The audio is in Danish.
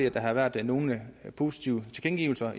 at der har været nogle positive tilkendegivelser